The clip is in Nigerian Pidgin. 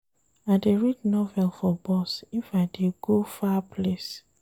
I dey read novel for bus if I dey go far place.